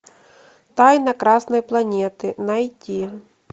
тайна красной планеты найти